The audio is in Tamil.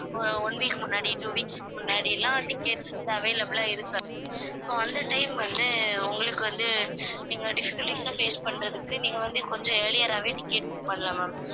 ஒரு one week முன்னாடி two weeks க்கு முன்னாடிலாம் tickets வந்து available ஆ இருக்காது so அந்த time வந்து உங்களுக்கு வந்து நீங்க difficulties லாம் face பண்றதுக்கு நீங்க வந்து கொஞ்சம் earlier ஆவே ticket book பண்ணலாம் ma'am